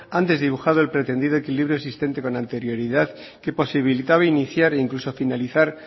han desdibujado el pretendido equilibrio existente con anterioridad que posibilitaba iniciar e incluso finalizar